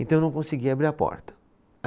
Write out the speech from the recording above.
Então eu não consegui abrir a porta.